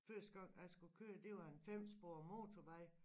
Første gang jeg skulle køre det var en femsporet motorvej